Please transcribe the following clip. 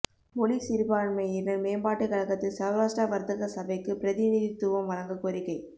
மொழி சிறுபான்மையினா் மேம்பாட்டுக் கழகத்தில் சௌராஷ்டிர வா்த்தக சபைக்கு பிரதிநிதித்துவம் வழங்கக் கோரிக்கை